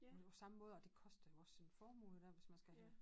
På nu samme måde og det koster jo også en formue i hvert fald hvis man skal have